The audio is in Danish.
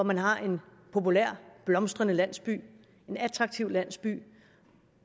man har en populær blomstrende landsby en attraktiv landsby